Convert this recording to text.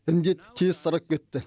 індет тез тарап кетті